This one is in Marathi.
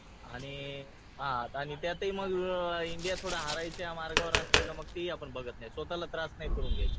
आणि त्यातही मग इंडिया थोडं हारायच्या मार्गावर असलं तर तेही आपण बघत नाही स्वतःला त्रास नाही करून घ्यायचा.